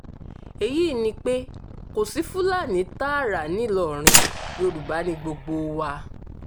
èyí ni pé kò sí fúlàní tààrà ńìlọrin yorùbá ni gbogbo wa